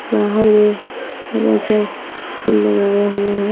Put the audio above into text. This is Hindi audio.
बाहर में हरा सा फूल लगाया हुआ है।